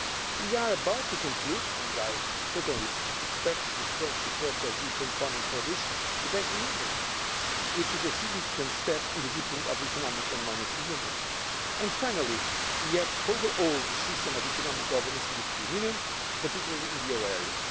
We are about to conclude and I certainly expect the strong support of Parliament on this the Banking Union which is a significant step in the deepening of Economic and Monetary Union. And finally, we have overhauled the system of economic governance in the European Union, particularly in the euro area.